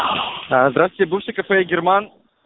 здравствуйте бывшее кафе герман